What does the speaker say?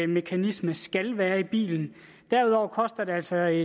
mekanisme skal være i bilen derudover koster det altså